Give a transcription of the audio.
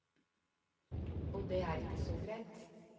Og det er ikke så greit.